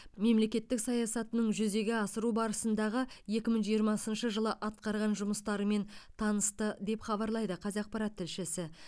мемлекеттік саясатының жүзеге асыру барысындағы екі мың жиырмасыншы жылы атқарған жұмыстарымен танысты деп хабарлайды қазақпарат тілшісі